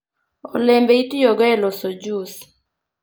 olembe itiyogo e loso jus